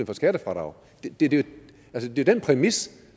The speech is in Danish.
for skattefradrag det det er jo den præmis